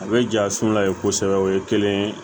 A bɛ ja su la ye kosɛbɛ o ye kelen ye